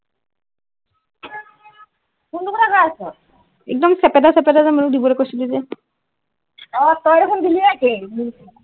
এক দম চেপেটা চেপেটা যে মোক দিবলৈ কৈছিলি যে অ তই দেখোন দেলি একেই মোৰ নিচিনা